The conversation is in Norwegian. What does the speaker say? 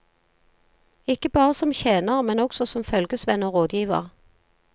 Ikke bare som tjener, men også som følgesvenn og rådgiver.